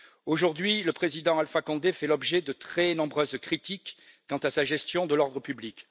Aujourd'hui, le président Alpha Condé fait l'objet de très nombreuses critiques quant à sa gestion de l'ordre public.